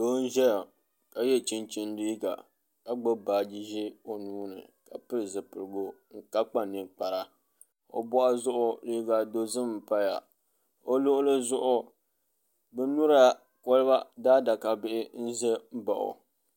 Doo n ʒɛya ka gbubi chinchin liiga ka gbubi baaji ʒiɛ o nuuni ka pili zipiligu ka kpa ninkpara o boɣu zuɣu liiga dozim n paya o luɣuli zuɣu bin nyura kolba daadaka Bihi n ʒɛ n baɣa o